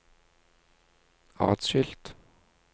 atskilt